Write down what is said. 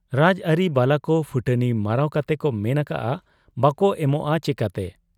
ᱨᱟᱡᱽ ᱟᱟᱹᱨᱤ ᱵᱟᱞᱟᱠᱚ ᱯᱷᱩᱴᱟᱹᱱᱤ ᱢᱟᱨᱟᱣ ᱠᱟᱛᱮᱠᱚ ᱢᱮᱱ ᱟᱠᱟᱜ ᱟ, ᱵᱟᱠᱚ ᱮᱢᱚᱜ ᱟ ᱪᱮᱠᱟᱛᱮ ?